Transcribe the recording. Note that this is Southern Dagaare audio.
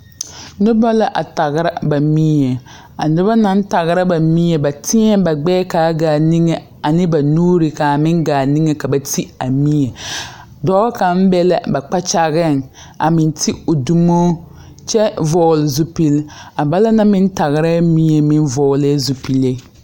Nobɔ la a tagra ba mie a nobɔ naŋ tagra ba mie ba tēɛ ba gbɛɛ kaa gaa niŋe ane ba nuure kaa meŋ gaa niŋe ka ba ti a mie dɔɔ kaŋ be la kpakyageŋ a meŋ ti o dumo kyɛ vɔɔle zupil balaŋ na meŋ tagrɛɛ mie meŋ vɔɔlɛɛ zupile.